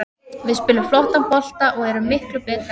Við spilum flottan bolta og erum miklu betri aðilinn.